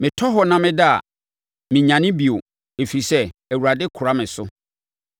Metɔ hɔ na meda a, menyane bio, ɛfiri sɛ Awurade kora me so.